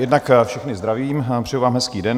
Jednak všechny zdravím, přeji vám hezký den.